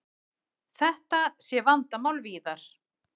Þetta sé vandamál víðar.